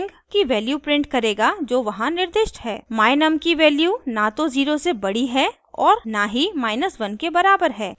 my_num की value न तो 0 से बड़ी है और न ही 1 के बराबर है तो इसे else सेक्शन में जाना होगा